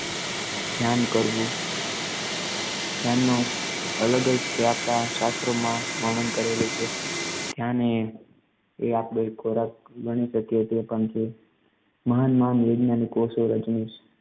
ધ્યાન કરવું ધ્યાનનો અલગ જ તે આપડા શાસ્ત્રોમાં વર્ણન કરેલું છે ધ્યાન એ એ આપડો એક ખોરાક ગણી શકીએ તે પણ છે મહાન મહાન વૈજ્ઞાનિકો ઓશો રજનીશ